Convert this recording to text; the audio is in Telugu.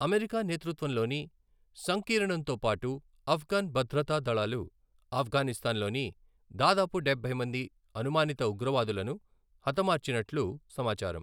అమెరికా నేతృత్వంలోని సంకీర్ణంతో పాటు ఆఫ్ఘన్ భద్రతా దళాలు ఆఫ్ఘనిస్తాన్లోని దాదాపు డబ్బై మంది అనుమానిత ఉగ్రవాదులను హతమార్చినట్లు సమాచారం.